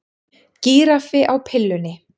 Gíraffi á pillunni